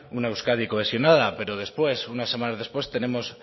una euskadi cohesionada pero después unas semanas después tenemos